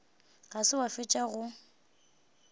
ga se wa fetša go